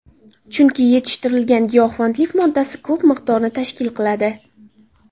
Chunki yetishtirilgan giyohvandlik moddasi ko‘p miqdorni tashkil qiladi.